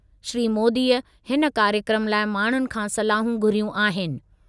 श्री मोदीअ हिन कार्यक्रमु लाइ माण्हुनि खां सलाहूं घुरियूं आहिनि।